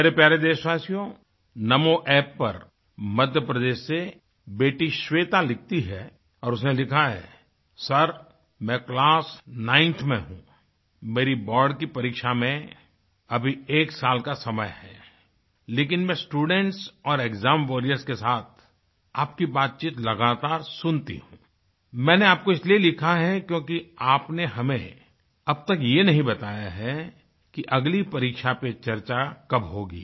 मेरे प्यारे देशवासियोंNamo अप्प पर मध्यप्रदेश से बेटी श्वेता लिखती है और उसने लिखा है सरमैं क्लास 9thमें हूँ मेरी बोर्ड की परीक्षा में अभी एक साल का समय है लेकिन मैं स्टूडेंट्स और एक्साम वॉरियर्स के साथ आपकी बातचीत लगातार सुनती हूँ मैंने आपको इसलिए लिखा है क्योंकि आपने हमें अब तक ये नहीं बताया है कि अगली परीक्षा पर चर्चा कब होगी